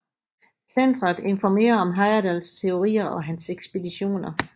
Centeret informerer om Heyerdahls teorier og hans ekspeditioner